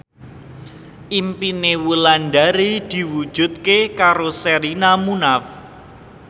impine Wulandari diwujudke karo Sherina Munaf